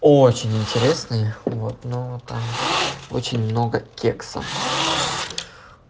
очень интересные вот но там очень много кекса